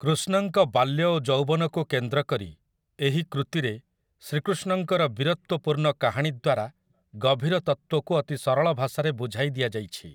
କୃଷ୍ଣଙ୍କ ବାଲ୍ୟ ଓ ଯୌବନକୁ କେନ୍ଦ୍ରକରି ଏହି କୃତୀରେ ଶ୍ରୀକୃଷ୍ଣଙ୍କର ବୀରତ୍ୱପୂର୍ଣ୍ଣ କାହାଣୀ ଦ୍ୱାରା ଗଭୀର ତତ୍ତ୍ୱକୁ ଅତି ସରଳ ଭାଷାରେ ବୁଝାଇ ଦିଆଯାଇଛି ।